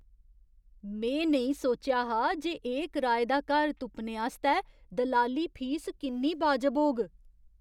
में नेईं सोचेआ हा जे एह् कराए दा घर तुप्पने आस्तै दलाली फीस किन्नी वाजब होग!